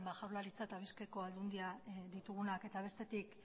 jaurlaritza eta bizkaiko aldundia ditugunak eta bestetik